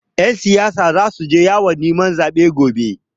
Ƴan siyasa zasu je yawon neman zaɓe gobe.